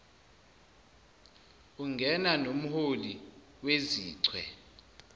ungena nomholi wezichwe